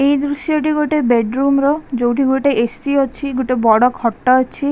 ଏ ଦୃଶ୍ୟ ଟି ଗୋଟେ ବେଡ୍ ରୁମ୍ ର ଯୋଉଠି ଏ ସି ଅଛି ଗୋଟେ ବଡ଼ ଖଟ ଅଛି।